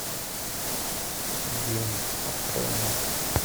гений открой мне